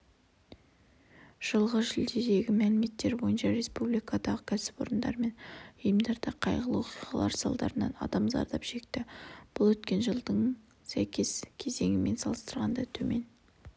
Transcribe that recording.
жылғы шілдедегі мәліметтер бойынша республикадағы кәсіпорындар мен ұйымдарда қайғылы оқиғалар салдарынан адам зардап шекті бұл өткен жылдың сәйкес кезеңімен салыстырғанда төмен